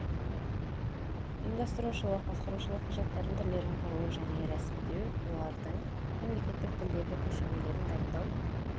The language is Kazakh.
ұйымдастырушылық басқарушылық құжаттардың түрлерін құру және рәсімдеу олардың мемлекеттік тілдегі көшірмелерін дайындау